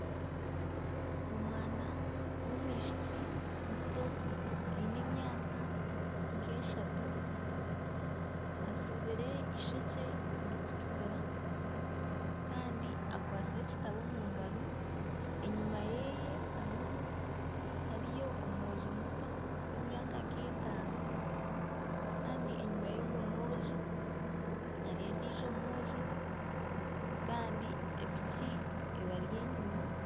Omwana w'omwishiki muto aine emyaka nka eshatu atsibire eishokye rikutukura kandi akwatsire ekitabo omu ngaro enyuma yeeye hariyo omwojo muto w'emyaka nka etaano kandi enyuma y'ogwo mwojo hariyo ondiijo mwojo kandi epiki ebari enyuma.